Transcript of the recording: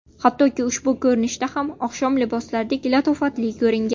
Hattoki ushbu ko‘rinishda ham oqshom liboslaridek latofatli ko‘ringan.